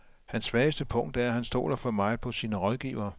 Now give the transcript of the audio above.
Hans svageste punkt er, at han stoler for meget på sine rådgivere.